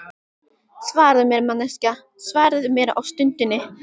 Svaraðu mér, manneskja, svaraðu mér á stundinni.